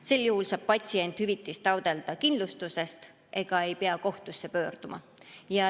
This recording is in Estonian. Sel juhul saab patsient hüvitist taotleda kindlustusest ega pea kohtusse pöörduma.